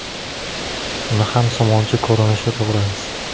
Uni ham somoncha ko‘rinishida to‘g‘raymiz.